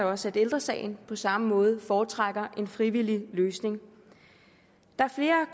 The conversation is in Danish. også at ældre sagen på samme måde foretrækker en frivillig løsning der er